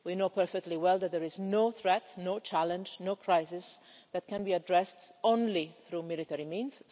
We know perfectly well that there is no threat, no challenge, no crisis, that can be addressed only through military means.